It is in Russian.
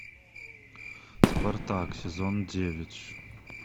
спартак сезон девять